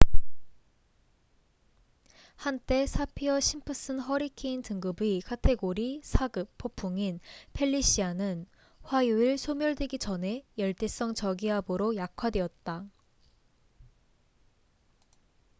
한때 사피어 심프슨 허리케인 등급의 카테고리 4급 폭풍인 펠리시아는 화요일 소멸되기 전에 열대성 저기압으로 약화되었다